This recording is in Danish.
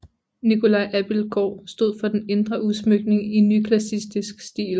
Nicolai Abildgaard stod for den indre udsmykning i nyklassicistisk stil